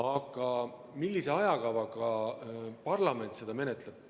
Aga millise ajakavaga parlament seda menetleb?